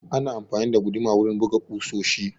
Ana amfani da guduma wurin buga ƙusoshi